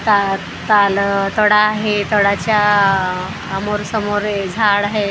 ता ताल थोडा आहे थोडा च्या आमोर समोर हे झाड आहेत झाडा --